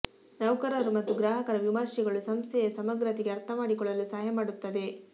ನೌಕರರು ಮತ್ತು ಗ್ರಾಹಕರ ವಿಮರ್ಶೆಗಳು ಸಂಸ್ಥೆಯ ಸಮಗ್ರತೆಗೆ ಅರ್ಥಮಾಡಿಕೊಳ್ಳಲು ಸಹಾಯ ಮಾಡುತ್ತದೆ